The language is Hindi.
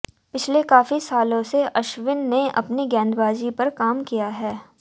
पिछले काफी सालों से अश्विन ने अपनी गेंदबाजी पर काम किया है